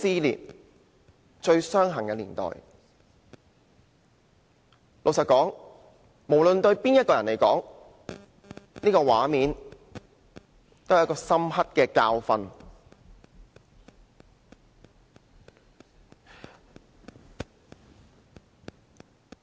老實說，不論對誰來說，這個畫面也是一個深刻的教訓。